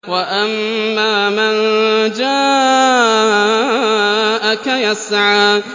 وَأَمَّا مَن جَاءَكَ يَسْعَىٰ